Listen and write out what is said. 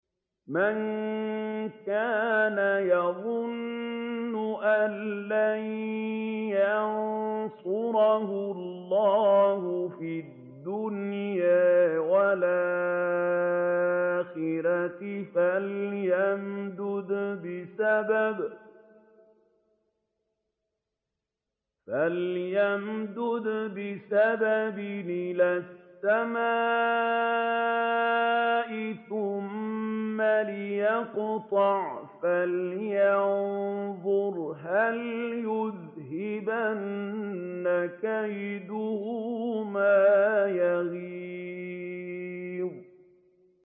مَن كَانَ يَظُنُّ أَن لَّن يَنصُرَهُ اللَّهُ فِي الدُّنْيَا وَالْآخِرَةِ فَلْيَمْدُدْ بِسَبَبٍ إِلَى السَّمَاءِ ثُمَّ لْيَقْطَعْ فَلْيَنظُرْ هَلْ يُذْهِبَنَّ كَيْدُهُ مَا يَغِيظُ